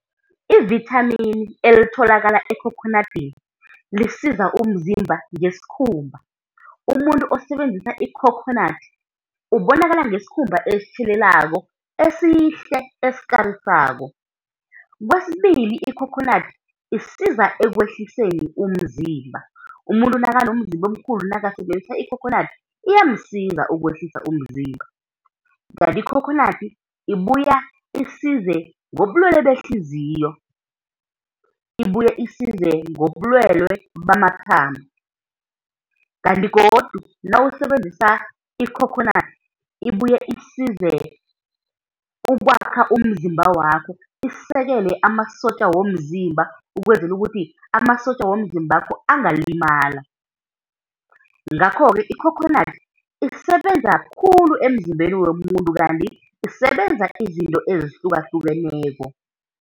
Ivithamini elitholakala ekhokhonadini lisiza umzimba ngesikhumba. Umuntu osebenzisa ikhokhonadi ubonakala ngesikhumba esitjhelelako, esihle, esikarisako. Kwesibili, ikhokhonadi isiza ekwehliseni umzimba, umuntu nakanomzimba omkhulu nakasebenzisa ikhokhonadi iyamsiza ukwehlisa umzimba. Kanti ikhokhonadi, ibuya isize ngobulwelwe behliziyo, ibuye isize ngobulwelwe bamathambo, kanti godu nawusebenzisa ikhokhonandi ibuye isize ukwakha umzimba wakho, isekele amasotja womzimba, ukwenzela ukuthi amasotja womzimbakho angalimala. Ngakho-ke ikhokhonadi isebenza khulu emzimbeni womuntu, kanti isebenza izinto ezihlukahlukeneko.